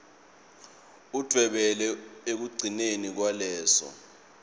udvwebele ekugcineni kwaleso